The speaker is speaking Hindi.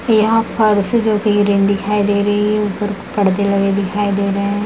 यहाँ फरसी ज्योति दिखाई दे रही है। ऊपर परदे लगे दिखाई दे रहें हैं।